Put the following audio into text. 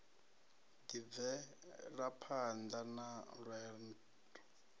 ḓi b velaphanḓa na lwenḓo